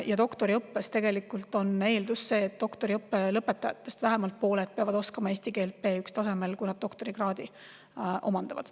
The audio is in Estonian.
Ja doktoriõppes on eeldus, et doktoriõppe lõpetajatest vähemalt pooled oskavad eesti keelt B1-tasemel, kui nad doktorikraadi omandavad.